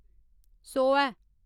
सौऐ